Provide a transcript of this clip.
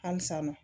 Halisa nɔ